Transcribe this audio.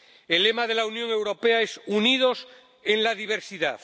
El lema de la Unión Europea es Unidos en la diversidad.